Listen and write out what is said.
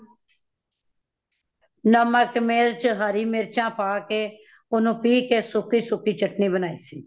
ਨਮਕ , ਮਿਰਚ, ਹਰਿ ਮਿਰਚਾਂ ਪਾਕੇ ,ਓਹਨੂੰ ਪੀਹ ਕੇ ਸੁੱਕੀ ਸੁੱਕੀ ਚਟਣੀ ਬਨਾਈ ਸੀ।